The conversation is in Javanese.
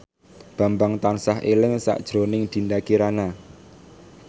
Bambang tansah eling sakjroning Dinda Kirana